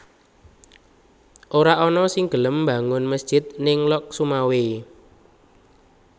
Ora ana sing gelem mbangun mesjid ning Lhokseumawe